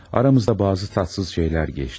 Aramızda bəzi tatsız şeylər keçdi.